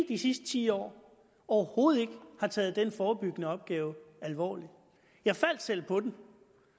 de sidste ti år overhovedet ikke har taget den forebyggende opgave alvorligt jeg faldt selv på den